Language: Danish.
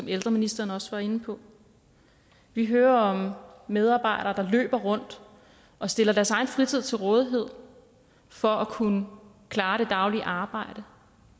ældreministeren også var inde på vi hører om medarbejdere der løber rundt og stiller deres egen fritid til rådighed for at kunne klare det daglige arbejde